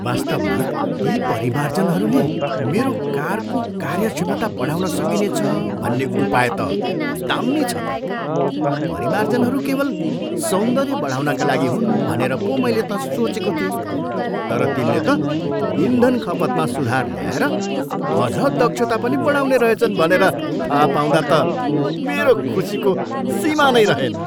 वास्तवमा ती परिमार्जनहरूले मेरो कारको कार्य क्षमता बढाउन सकिनेछ भन्ने उपाय त दाम्मी छ त। परिमार्जनहरू केवल सौन्दर्य बढाउनका लागि हुन् भनेर पो मैले त सोचेको थिएँ, तर तिनले त इन्धन खपतमा सुधार ल्याएर अझ दक्षता पनि बढाउने रहेछन् भनेर थाहा पाउँदा त मेरो खुसीको सीमा नै रहेन।